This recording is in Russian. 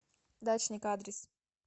дачник адрес